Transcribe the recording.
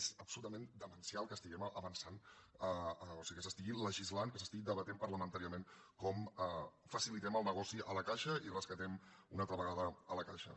és absolutament demencial que estiguem avançant o sigui que s’estigui legislant que s’estigui debatent parlamentàriament com facilitem el negoci a la caixa i rescatem una altra vegada la caixa